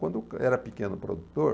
Quando eu era pequeno produtor...